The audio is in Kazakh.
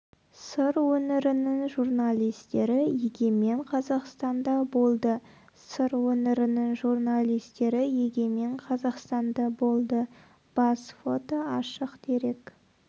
сыр өңірінің журналистері егемен қазақстанда болды сыр өңірінің журналистері егемен қазақстанда болды бас фото ашық дерек